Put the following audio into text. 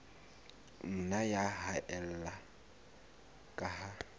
nna ya haella ka ha